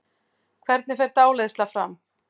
Hvernig fer dáleiðsla fram?